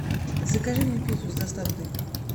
закажи мне пиццу с доставкой